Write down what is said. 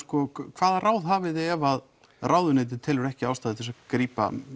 hvaða ráð hafiði ef ráðuneytið telur ekki ástæðu til þess að grípa